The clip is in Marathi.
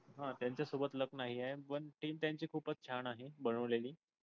हा त्यांचा सोबत luck नाही आहे पण team त्यांची खूप छान आहे बनवलेली.